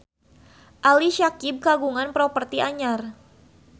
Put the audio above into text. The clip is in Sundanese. Ali Syakieb kagungan properti anyar